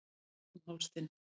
Strýk um háls þinn.